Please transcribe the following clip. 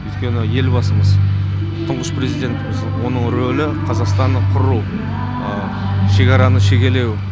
өйткені елбасымыз тұңғыш президентіміз оның ролі қазақстанды құру шекараны шегелеу